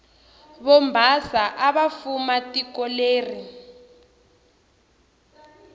vobhasa avafuma tikoleri